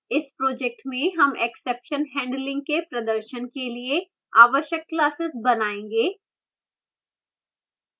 इस project में हम exception handling के प्रदर्शन के लिए आवश्यक classes बनायेंगे